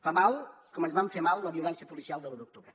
fa mal com ens va fer mal la violència policial de l’u d’octubre